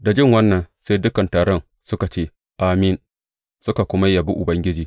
Da jin wannan, sai dukan taron suka ce, Amin, suka kuma yabi Ubangiji.